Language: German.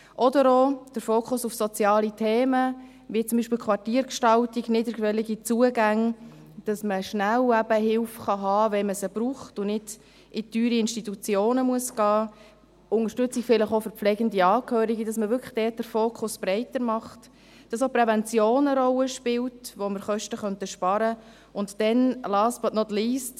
Oder auch der Fokus auf soziale Themen, wie zum Beispiel die Quartiergestaltung; niederschwellige Zugänge, dass man schnell Hilfe haben kann, wenn man sie braucht und nicht in teure Institutionen gehen muss, Unterstützung vielleicht auch für pflegende Angehörige, dass man wirklich dort den Fokus breiter macht, dass auch die Prävention eine Rolle spielt, wo man Kosten sparen könnte, und last, but not least: